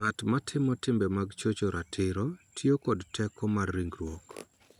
Ng�at ma timo timbe mag chocho ratiro tiyo kod teko mar ringruok .